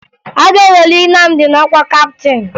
A ga-eweli Nnamdi n'ọkwa kaptịn